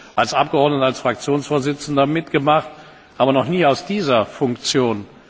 ich habe das als Abgeordneter, als Fraktionsvorsitzender mitgemacht, aber noch nie in dieser Funktion.